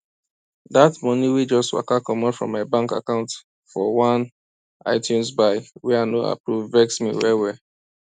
that money wey just waka comot from my bank account for one itunes buy wey i no approve vex me wellwell